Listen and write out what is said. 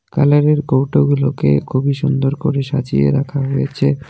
কালারের কৌটাগুলোকে খুবই সুন্দর করে সাজিয়ে রাখা হয়েছে .